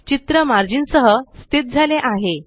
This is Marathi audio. चित्र मार्जिन सह स्थित झाले आहे